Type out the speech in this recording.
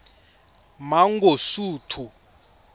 mangosuthu